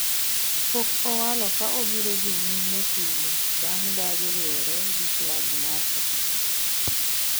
pok owalo ka obiro dhi nyime tigo bang' dagi riwore gi klab mar Sofapaka